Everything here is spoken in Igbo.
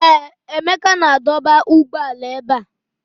Ee, Emeka na-adọba ụgbọala ebe a.